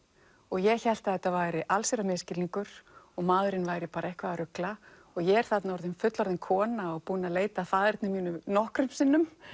ég hélt að þetta væri allsherjar misskilningur og maðurinn væri bara eitthvað að rugla ég er þarna orðin fullorðin kona og búin að leita að faðerni mínu nokkrum sinnum